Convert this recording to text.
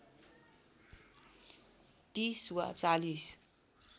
३० वा ४०